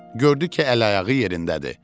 Gördü ki, əl-ayağı yerindədir.